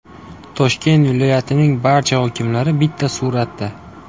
Toshkent viloyatining barcha hokimlari bitta suratda.